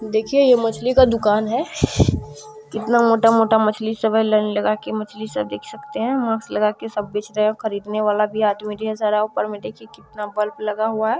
देखिये ये मछली का दुकान है कितना मोटा मोटा मछली सभी लाइन लगा के मछली से देख सकते है मास्क लगा के सब बेचते है खरीदने वाला भी आदमी सारा ऑफर देखिये कितना बल्ब लगा हुआ है।